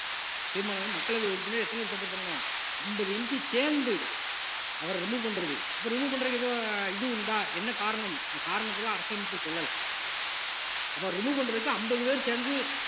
தீர்மானம் வந்து மக்களவை உறுப்பினர் எத்தன பேருக்கு support பண்ணணும் அம்பது MP சேர்ந்து அவரை remove பண்றது அப்ப remove பண்றதுக்கு எதுவும் இது உண்டா என்ன காரணம் அந்த காரணத்தை எல்லாம் அரசு அமைப்பு சொல்லல அப்ப remove பண்றதுக்கு அம்பது பேர் சேர்ந்து